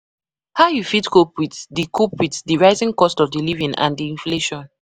how you fit cope the with cope with di rising cost of living and di inflation